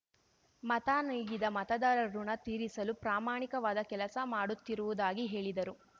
ಮತ ನೀಗಿದ ಮತದಾರರ ಋಣ ತೀರಿಸಲು ಪ್ರಾಮಾಣಿಕವಾದ ಕೆಲಸ ಮಾಡುತ್ತಿರುವುದಾಗಿ ಹೇಳಿದರು